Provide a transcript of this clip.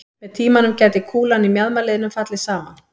Með tímanum gæti kúlan í mjaðmarliðnum fallið saman.